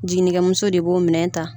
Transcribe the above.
Jiginikɛ muso de b'o minɛn ta.